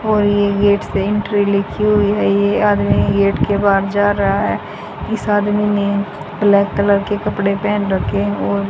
और ये गेट से एंट्री लिखी हुई है ये आदमी गेट के बाहर जा रहा है इस आदमी ने ब्लैक कलर के कपड़े पहेन रखे और --